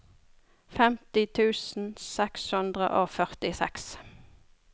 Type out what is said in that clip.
femti tusen seks hundre og førtiseks